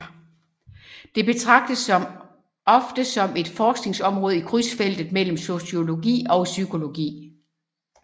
Det betragtes ofte som et forskningsområde i krydsfeltet mellem sociologi og psykologi